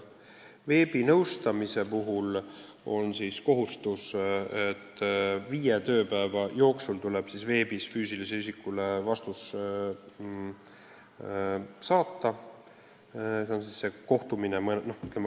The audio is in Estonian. Veebinõustamise puhul on kohustus saata inimesele vastus viie tööpäeva jooksul.